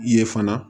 Ye fana